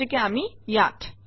গতিকে আমি ইয়াত